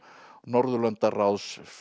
Norðurlandaráðs